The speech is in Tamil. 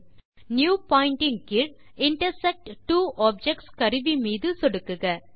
நியூ பாயிண்ட் கீழ் இன்டர்செக்ட் ட்வோ ஆப்ஜெக்ட்ஸ் கருவி மீது சொடுக்குக